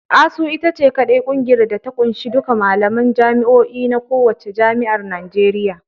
ASUU ita ce kaɗai kungiyar da ta ƙunshi duka malaman jami'o'in na kowacce jami'ar Najeriya.